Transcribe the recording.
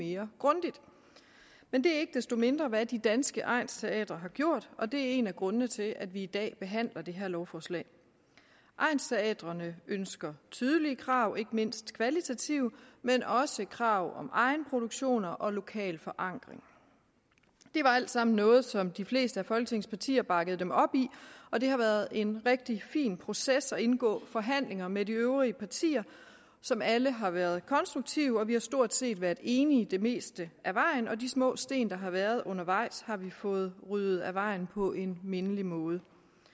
mere grundigt men det er ikke desto mindre hvad de danske egnsteatre har gjort og det er en af grundene til at vi i dag behandler det her lovforslag egnsteatrene ønsker tydelige krav ikke mindst kvalitative men også krav om egenproduktioner og lokal forankring det var alt sammen noget som de fleste af folketingets partier bakkede dem op i og det har været en rigtig fin proces at indgå i forhandlinger med de øvrige partier som alle har været konstruktive vi har stort set været enige det meste af vejen og de små sten der har været undervejs har vi fået ryddet af vejen på en mindelig måde